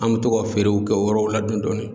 An bɛ to ka feerew kɛ yɔrɔw la dɔɔni dɔɔni.